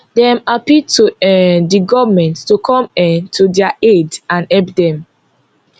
dem appeal to um di goment to come um to dia aid and help dem